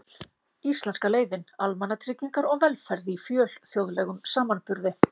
Íslenska leiðin: Almannatryggingar og velferð í fjölþjóðlegum samanburði.